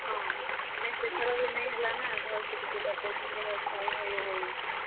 ହଁ, ନାଇଁ ସେଥର ବି ନାଇଁ ହେଲା ନାଁ, ଭଲ ସେ ଟିକେ birthday ନିନି ର୍ ଟାଇମ୍ ନାଇଁ ।